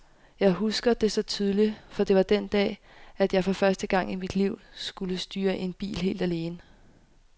Jeg husker det så tydeligt, for det var den dag, at jeg for første gang i mit liv skulle styre en bil helt alene.